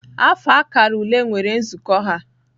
Afọ akara ule nwere nzukọ ha